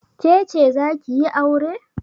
Ke ce za ki yi aure?